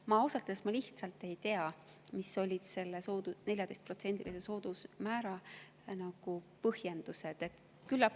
Ma ausalt öeldes lihtsalt ei tea, mis olid selle 14%‑lise soodusmäära põhjendused.